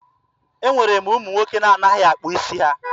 E nwere ụmụ nwoke na-anaghị akpụ isi ha.